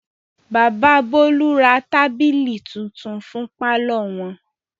Bàbà Bólú ra tábìlì tuntun fún pálọ̀ wọn.